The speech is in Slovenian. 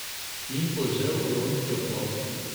In požel huronski aplavz.